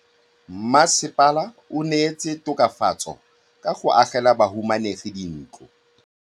Mmasepala o neetse tokafatsô ka go agela bahumanegi dintlo.